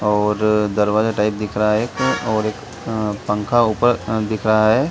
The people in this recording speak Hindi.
और दरवाज़ा टाइप दिख रहा है एक और एक अ पंखा ऊपर अ दिख रहा है।